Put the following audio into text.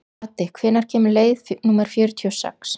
Addi, hvenær kemur leið númer fjörutíu og sex?